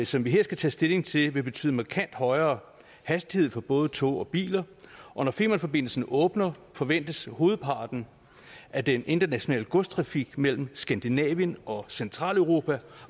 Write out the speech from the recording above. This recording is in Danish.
som vi her skal tage stilling til vil betyde markant højere hastighed for både tog og biler og når femernforbindelsen åbner forventes hovedparten af den internationale godstrafik mellem skandinavien og centraleuropa